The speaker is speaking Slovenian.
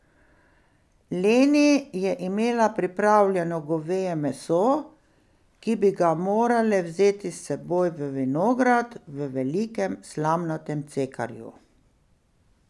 Leni je imela pripravljeno goveje meso, ki bi ga morale vzeti s seboj v vinograd v velikem slamnatem cekarju.